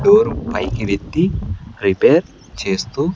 Door పైకి వెత్తి repair చేస్తూ.